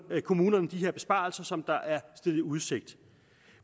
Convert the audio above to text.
kommunerne de her besparelser som der er stillet i udsigt